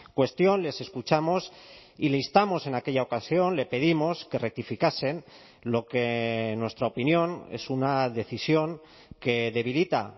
cuestión les escuchamos y le instamos en aquella ocasión le pedimos que rectificasen lo que en nuestra opinión es una decisión que debilita